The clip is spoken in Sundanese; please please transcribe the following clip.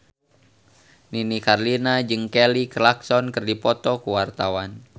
Nini Carlina jeung Kelly Clarkson keur dipoto ku wartawan